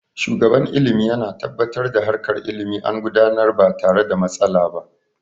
Shugaban ilimi yana tabbatar da harkar ilimi an gudanar ba tare da matsala ba